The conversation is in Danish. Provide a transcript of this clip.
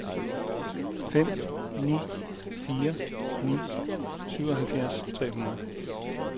fem ni fire ni syvoghalvfjerds tre hundrede